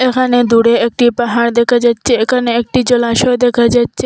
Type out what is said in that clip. এখানে দূরে একটি পাহাড় দেখা যাচ্ছে এখানে একটি জলাশয় দেখা যাচ্ছে।